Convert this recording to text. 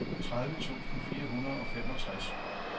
tredive tusind fire hundrede og femogtres